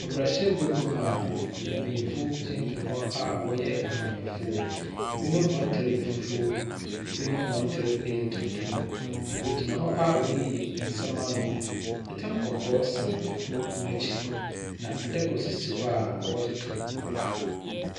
Mmarahyɛbadwam a mpenyimfo gyinagyina a wɔyɛ amanyɔfo. Ebinom hɔn ntar yɛ fufuw, ebinom hɔn ntar tutum. Wohgynia hɔ a wɔreyi nsɛm ano. Tam kɔkɔɔ sa kor n'ekyir. Na adaka nso si hɔ a wɔdzetow aba.